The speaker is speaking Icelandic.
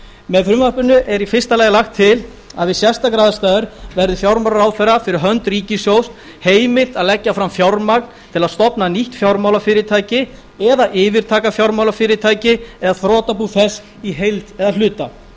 með frumvarpinu er í fyrsta lagi lagt til að við sérstakar aðstæður verði fjármálaráðherra fyrir hönd ríkissjóðs heimilt að leggja fram fjármagn til að stofna nýtt fjármálafyrirtæki eða yfirtaka fjármálafyrirtæki eða þrotabú þess í heild eða hluta